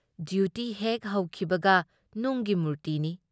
Duty ꯍꯦꯛ ꯍꯧꯈꯤꯕꯒ ꯅꯨꯡꯒꯤ ꯃꯨꯔꯇꯤꯅꯤ ꯫